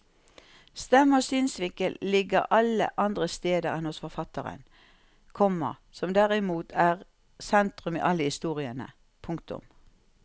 Stemme og synsvinkel ligger alle andre steder enn hos forfatteren, komma som derimot er sentrum i alle historiene. punktum